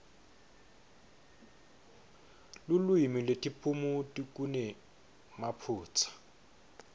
lulwimi netiphumuti kunemaphutsa